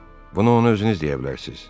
Bunu ona özünüz deyə bilərsiz.